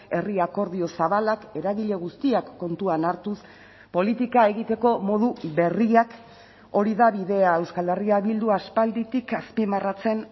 herri akordio zabalak eragile guztiak kontuan hartuz politika egiteko modu berriak hori da bidea euskal herria bildu aspalditik azpimarratzen